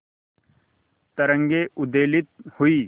तरंगे उद्वेलित हुई